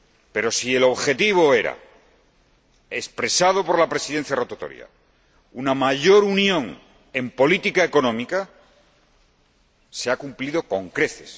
Pero si el objetivo era, según expresó la Presidencia rotatoria, una mayor unión en política económica, se ha cumplido con creces.